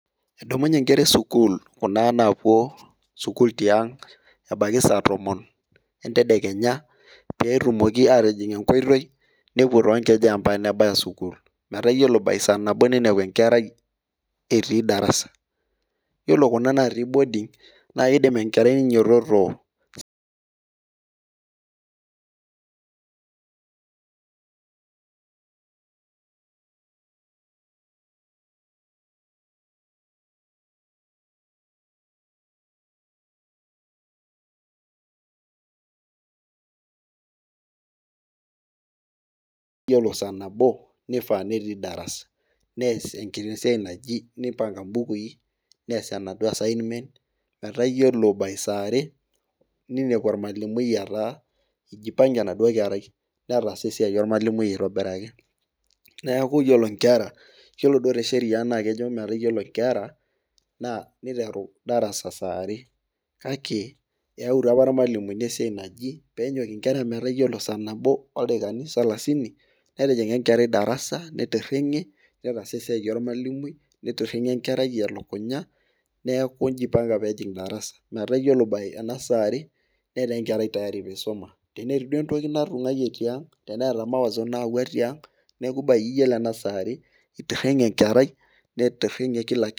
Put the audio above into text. Eedumunye nkera esukuul, Kuna naapuo sukuul tiang', ebaiki saa tomon entedekenya, pee etumoki aatijing enkoitoi, nepuo too nkejek mpaka nebaya sukuul, metaa iyiolo by saa nabo ninepu enkerai etii darasa. Iyiolo Kuna natii boning naa kidim enkerai ninyiototo saa nabo netii darasa, nees enkiti siai naji, nipanga mbukui, nees enaduoo assignment metaa iyiolo, by saa are ninepu olmalimui etaa ijipange enaduoo kerai metaasa esiai olmalimui aitobiraki neeku iyiolo nkera kejo te Sheria, niteru darasa saa are kake eyautua apa ilmalimuni esiai naji pee enyok nkera metaa iyiolo saa nabo, oldaikani salasiini netijinga enkerai darasa, nititinge elukunya, neeku ijipange peejing darasa. Iyiolo saa are itieinge Kila kitu.